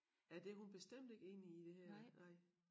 Ja det hun bestemt ikke enig i det her nej